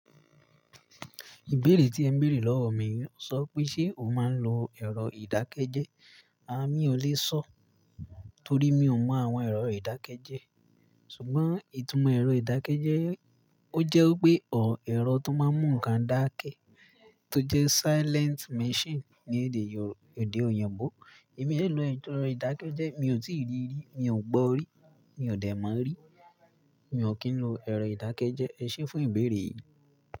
Ìbéèrè tí ẹ béèrè lọ́wọ́ mi yii n sọ pé ṣe o máa ń lo ẹ̀rọ ìdákẹ́jẹ́ẹ́. À mi o lè sọ torí mi ò mọ àwọn ẹ̀rọ ìdákẹ́jẹ́ẹ́. Sùgbọ́n ìtumọ̀ ẹ̀rọ ìdákẹ́jẹ́ẹ́, o jẹ́ wipé ọ̀ ẹ̀rọ tó máa ń mú nǹkan dáké to jẹ́ silent machine ni èdè òyìnbó. Èmi o lè lo ẹ̀rọ ìdákẹ́jẹ́ẹ́, mi ò tí ì rí rí, mi ò gbọ rí, mi ò dẹ̀ mọ̀ rí. Mi ò kí ń lo ẹ̀rọ ìdákẹ́jẹ́ẹ́. Ẹ ṣẹ́ fún ìbéèrè yìí.